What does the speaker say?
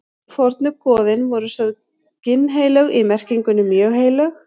Fornu goðin voru sögð ginnheilög í merkingunni mjög heilög.